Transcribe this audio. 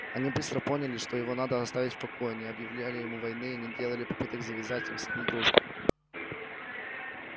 они быстро поняли что его надо оставить в покое не объявляли ему войны и не делали попыток завязать с ним дружбу